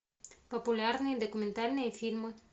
популярные документальные фильмы